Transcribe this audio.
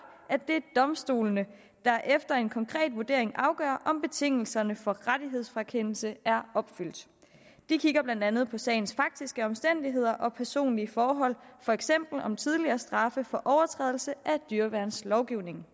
at det er domstolene der efter en konkret vurdering afgør om betingelserne for rettighedsfrakendelse er opfyldt de kigger blandt andet på sagens faktiske omstændigheder og personlige forhold for eksempel om tidligere straffe for overtrædelse af dyreværnslovgivningen